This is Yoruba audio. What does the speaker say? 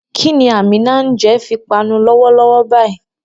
Kí ni Àmíná ń jẹ fi panu lọ́wọ́lọ́wọ́ báyìí?